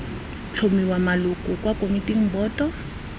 tlhomiwa maloko kwa komiting boto